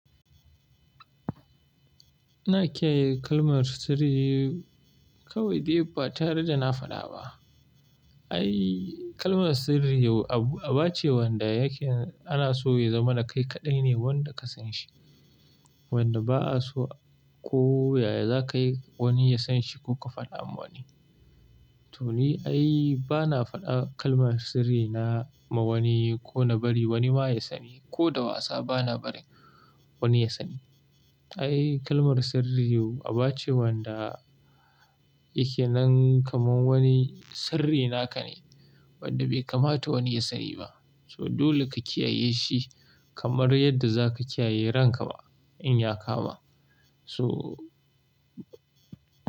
Ina kiyaye kalmar sirri kawai dai ba tare da na faɗa ba. Ai kalmar sirri abu aba ce wanda yake ana so ya zama na kai kaɗai ne wanda ka san shi. Wanda ba a so kowa yaya za ka yi wani ya san shi ko ka faɗa wa wani. To ni ai bana faɗa kalmar sirri na ma wani ko na bari wani ma ya sani ko da wasa bana barin wani ya sani. Ai kalmar sirri abu aba ce wanda yake nan kamar wani sirri naka ne wanda bai kamata wani ya sani ba. To dole ka kiyaye shi kamar yadda za ka kiyaye ranka ma in ya kama. So.